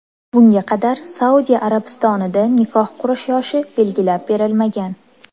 Bunga qadar Saudiya Arabistonida nikoh qurish yoshi belgilab berilmagan.